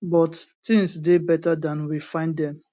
but tins dey beta dan we find dem